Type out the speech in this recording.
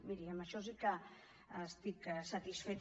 miri amb això sí que estic satisfeta